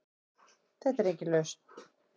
Þetta er engin lausn.